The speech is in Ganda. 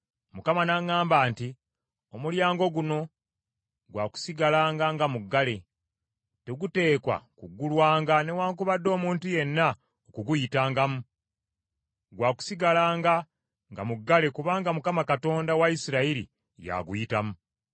Mukama n’aŋŋamba nti, “Omulyango guno gwa kusigalanga nga muggale. Teguteekwa kugulwanga newaakubadde omuntu yenna okuguyitangamu. Gwa kusigalanga nga muggale kubanga Mukama , Katonda wa Isirayiri yaguyitamu.